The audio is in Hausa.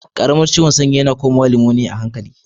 Karamin ciwon sanyi yana. komawa limoniya a hankali.